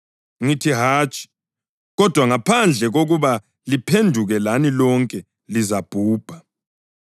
Ngithi, hatshi! Kodwa, ngaphandle kokuba liphenduke lani lonke lizabhubha.